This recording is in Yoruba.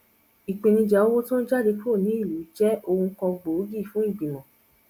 ipenija owo ti o n jade kuro niluu je ohun kan gboogi fun igbimo